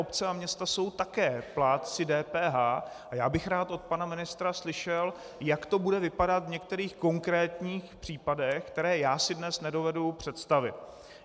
Obce a města jsou také plátci DPH a já bych rád od pana ministra slyšel, jak to bude vypadat v některých konkrétních případech, které já si dnes nedovedu představit.